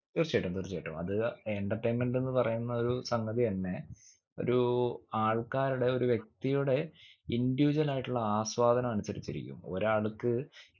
തീർച്ചയായിട്ടും തീർച്ചയായിട്ടും അത് entertainment എന്ന് പറയുന്ന ഒരു സംഗതിയന്നെ ഒരു ആൾക്കാരുടെ ഒരു വ്യക്തിയുടെ individual ആയിട്ടുള്ള ആസ്വാദനം അനുസരിച്ചിരിക്കും ഒരാൾക്ക്